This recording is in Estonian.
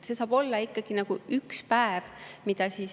See saab olla ikkagi üks päevade.